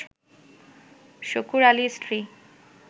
শুকুর আলীর স্ত্রী